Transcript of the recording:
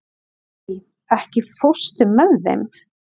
Emmý, ekki fórstu með þeim?